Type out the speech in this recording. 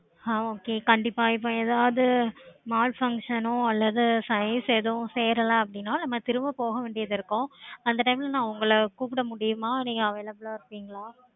ஆஹ் okay கண்டிப்பா இப்போ ஏதவது